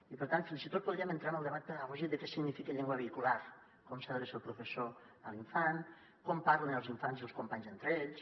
i per tant fins i tot podríem entrar en el debat pedagògic de què significa llengua vehicular com s’adreça el professor a l’infant com parlen els infants i els companys entre ells